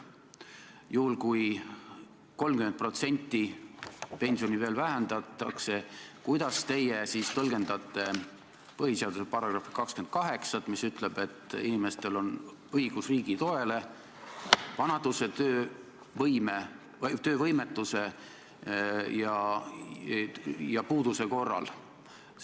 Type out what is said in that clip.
Juhul, kui pensioni 30% vähendatakse, siis kuidas teie tõlgendaksite põhiseaduse § 28, mis ütleb, et inimestel on õigus riigi toele vanaduse, töövõimetuse ja puuduse korral?